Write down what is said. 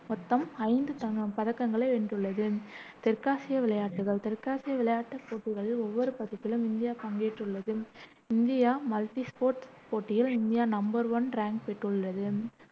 மொத்தம் ஐந்து தங்க் பதக்கங்களை வென்றுள்ளது. தெற்காசிய விளையாட்டுகள் தெற்காசிய விளையாட்டுப் போட்டிகளின் ஒவ்வொரு பதிப்பிலும் இந்தியா பங்கேற்றுள்ளது இந்தியா மல்டி ஸ்போர்ட் போட்டியில் இந்தியா நம்பர் ஒன் ரேங்க் பெற்றுள்ளது